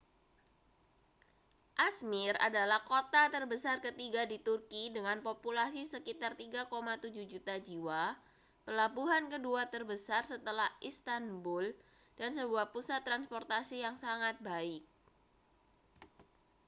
ä°zmir adalah kota terbesar ketiga di turki dengan populasi sekitar 3,7 juta jiwa pelabuhan kedua terbesar setelah istanbul dan sebuah pusat transportasi yang sangat baik